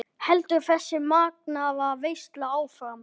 Heldur þessi magnaða veisla áfram?